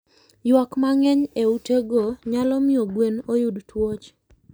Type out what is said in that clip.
Ywak mang'eny e utego nyalo miyo gwen oyud tuoche.